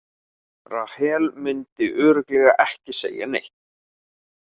Rahel myndi örugglega ekki segja neitt.